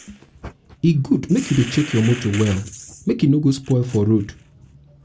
e good make u um dey check your motor well um make e no go spoil for road